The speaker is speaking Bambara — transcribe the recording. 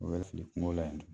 O yɛrɛ fili kungo la yen dun